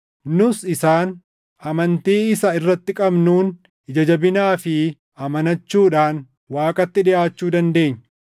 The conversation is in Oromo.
Nus isaan, amantii isa irratti qabnuun, ija jabinaa fi amanachuudhaan Waaqatti dhiʼaachuu dandeenya.